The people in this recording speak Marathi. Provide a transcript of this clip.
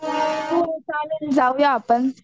हो चालेल जाऊया आपण